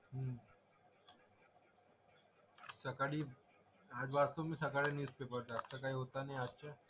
सकाळी आज वाचलो मी सकाळी न्यूजपेपर तर आजचं काही होतं नाही आजचं.